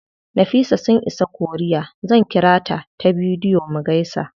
Nafisa sun isa korea, zan ƙirata ta bidiyo mu gaisa.